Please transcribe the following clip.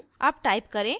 अब type करें: